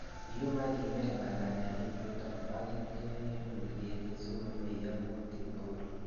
Iyum ak ibel balalenichuton ak ityo ilul ketit sikomeyo kutik tugul